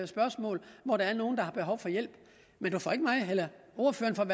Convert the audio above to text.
spørgsmål når der er nogen der har behov for hjælp men ordføreren